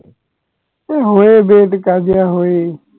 অ হয়েই daily কাজিয়া হয়েই